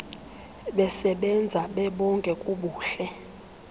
besebenza bebonke kubuhle